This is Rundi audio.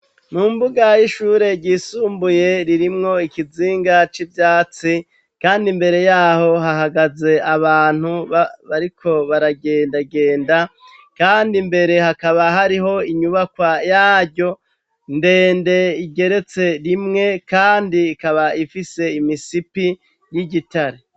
Mumbuga y’ishure ryisumbuye ririmwo ikizinga c'ivyatsi, kandi imbere yaho hahagaze abantu bariko baragendagenda, kandi imbere hakaba hariho inyubaka yaryo ndende igeretse rimwe, kandi kaba ifise imisipi yigitare.